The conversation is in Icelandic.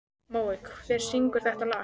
Mói, hver syngur þetta lag?